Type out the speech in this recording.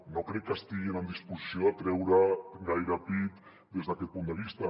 no crec que estiguin en disposició de treure gaire pit des d’aquest punt de vista